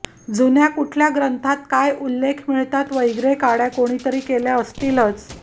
जुन्या कुठल्या ग्रंथांत काय उल्लेख मिळतात वैग्रे काड्या कोणीतरी केल्या असतीलच